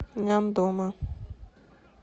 няндома